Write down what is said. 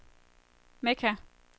Mekka